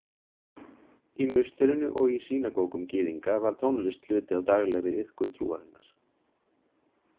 Í musterinu og í sýnagógum gyðinga var tónlist hluti af daglegri iðkun trúarinnar.